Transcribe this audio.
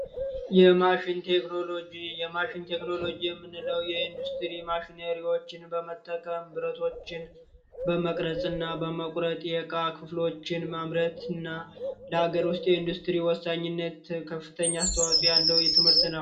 የማሽን ቴክኖሎጂ የማሽን ቴክኖሎጂ የምንለው የኢንዱስትሪ ማሽነሪዎችን በመጠቀም ብረቶችን በመቁረጥ እና በመቅረጽ የእቃ ክፍሎችን ማምረትና ለአገር ውስጥ ኢንዱስትሪ ወሳኝነት ከፍተኛ አስተዋጽኦ ያለው ትምህርት ነው።